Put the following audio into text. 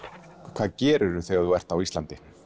hvað gerirðu þegar þú ert á Íslandi